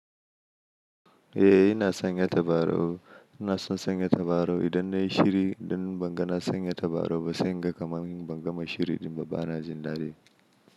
Eh ina sanya tabarau, ina son sanya tabarau idan nayi shiri, idan ban ga na sanya tabarau ba sai ga kamar ban gama shiri ɗin ba bana jin dadi.